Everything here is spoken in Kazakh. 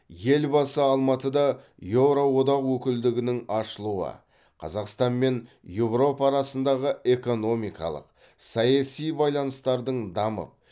елбасы алматыда еуроодақ өкілдігінің ашылуы қазақстан мен еуропа арасындағы экономикалық саяси байланыстардың дамып